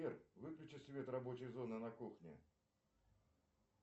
сбер выключи свет рабочей зоны на кухне